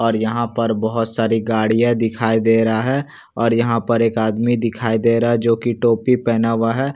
और यहाँ पर बहुत सारी गाड़ियाँ दिखाई दे रहा है और यहाँ पर एक आदमी दिखाई दे रहा है जो कि टोपी पेहना हुआ है।